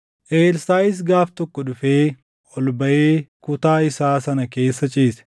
Elsaaʼis gaaf tokko dhufee ol baʼee kutaa isaa sana keessa ciise.